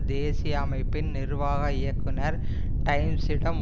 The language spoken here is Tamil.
தேசிய அமைப்பின் நிர்வாக இயக்குனர் டைம்ஸிடம்